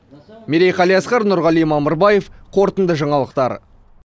мерей қалиасқар нұрғали мамырбаев қорытынды жаңалықтар